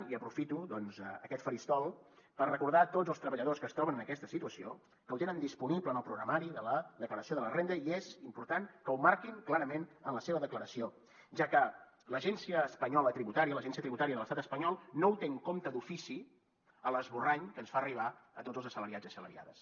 i aprofito doncs aquest faristol per recordar a tots els treballadors que es troben en aquesta situació que ho tenen disponible en el programari de la declaració de la renda i és important que ho marquin clarament en la seva declaració ja que l’agència espanyola tributària l’agència tributària de l’estat espanyol no ho té en compte d’ofici a l’esborrany que ens fa arribar a tots els assalariats i assalariades